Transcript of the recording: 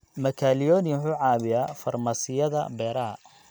Makalioni wuxuu caawiyaa farmasiyada beeraha.